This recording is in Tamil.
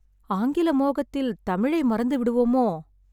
ஆங்கில மோகத்தில் தமிழை மறந்துவிடுவோமோ?